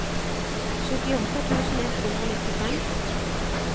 syttiåtte tusen ett hundre og nittifem